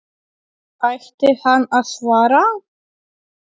Ætti hann að svara?